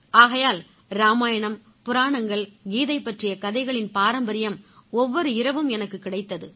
ஆகையால் இராமாயணம் புராணங்கள் கீதை பற்றிய கதைகளின் பாரம்பரியம் ஒவ்வொரு இரவும் எனக்குக் கிடைத்தது